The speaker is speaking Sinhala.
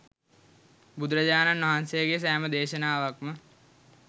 බුදුරජාණන් වහන්සේගේ සෑම දේශනාවක්ම